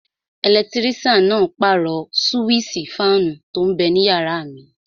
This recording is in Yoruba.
Ẹlẹtírísàn náà pàrọ̀ súwísì fáànù tó n bẹ ninú yàrá mi